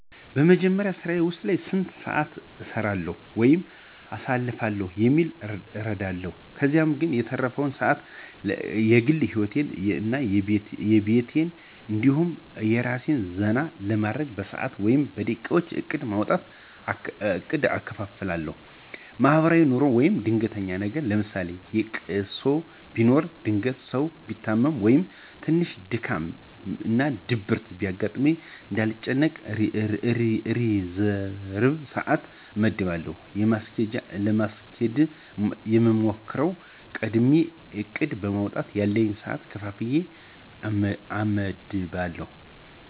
በመጀመሪያ ስራየ ዉስጥ ስንት ሰአት እሰራለዉ ወይም አሳልፋለሁ የሚለዉን እረዳለሁ። ከዛ የተረፈዉን ሰአት ለግል ሂወቴ እና ለቤቴ እንዲሁም አራሴን ዘና ለማድረግ በሰአት ወይም በደቂቃ እቅድ በማዉጣት እከፋፍላለሁ። ለማሕበራዉይ ኑሮ አና ለድንገተኛ ነገር ለምሳሌ ለቅሶ ቢኖር ድንገት ሰው ቢታመም ወይም ትንሽ ድካም እና ድብርት ቢያጋጥመኝ እንዳልጨናነቅ ሪዘርብ ሰአት አመድባለሁ። ለማስኬድ የምሞክረዉ፦ ቀድሜ እቅድ በማዉጣት ያለኝን ሰአት ከፋፍየ አመድባለሁ።